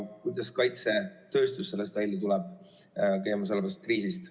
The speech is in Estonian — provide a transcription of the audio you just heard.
Kuidas kaitsetööstus käimasolevast kriisist välja tuleb?